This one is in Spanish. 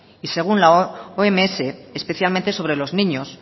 y según la oms especialmente sobre los niños